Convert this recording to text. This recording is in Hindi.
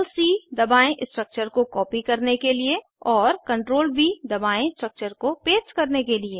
CTRL C दबायें स्ट्रक्चर को कॉपी करने के लिए और CTRL व दबाएं स्ट्रक्चर्स को पेस्ट करने के लिए